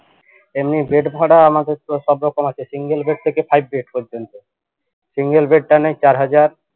এমনি bed ভাড়া আমাদের তো সব রকম আছে single bed থেকে five bed পর্যন্ত single bed তা নেই চার হাজার